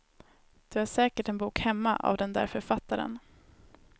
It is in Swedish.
Du har säkert en bok hemma av den där författaren.